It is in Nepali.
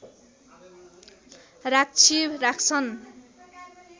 राक्षी राख्छन्